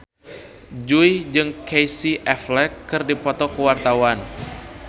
Jui jeung Casey Affleck keur dipoto ku wartawan